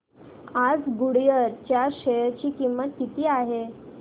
आज गुडइयर च्या शेअर ची किंमत किती आहे